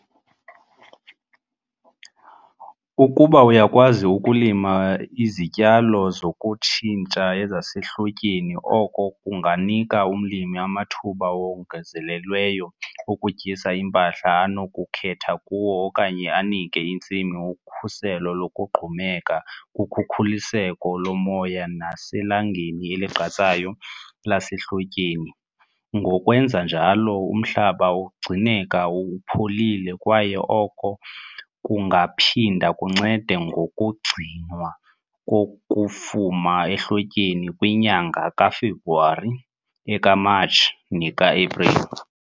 Ukuba uyakwazi ukulima izityalo zokutshintsha zasehlotyeni oko kunganika umlimi amathuba awongezelelweyo okutyisa impahla anokukhetha kuwo okanye anike intsimi ukhuselo lokugqumeka kukhukuliseko lomoya naselangeni eligqatsayo lasehlotyeni, ngokwenza njalo umhlaba ugcineka upholile kwaye oko kungaphinda kuncede ngokugcinwa kokufuma ehlotyeni kwinyanga kaFebruwari, ekaMatshi neka-Apreli.